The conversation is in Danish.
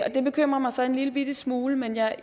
det bekymrer mig så en lillebitte smule men jeg